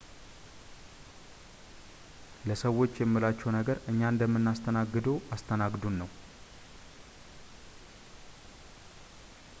ለሰዎች የምላቸው ነገር እኛ እንደምናስተናግድዎ አስተናግዱን ነው